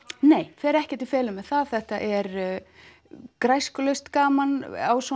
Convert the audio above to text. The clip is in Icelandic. nei fer ekkert í felur með það þetta er gaman